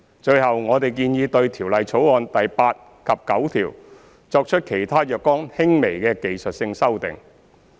最後，我們建議對《條例草案》第8及9條作出其他若干輕微的技術性修訂。